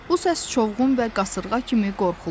Bu səs çovğun və qasırğa kimi qorxulu idi.